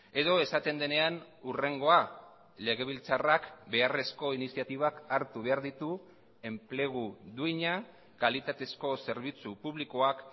edo esaten denean hurrengoa legebiltzarrak beharrezko iniziatibak hartu behar ditu enplegu duina kalitatezko zerbitzu publikoak